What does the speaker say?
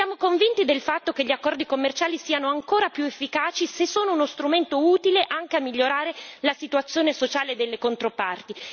Siamo convinti del fatto che gli accordi commerciali siano ancora più efficaci se sono uno strumento utile, anche a migliorare la situazione sociale delle controparti.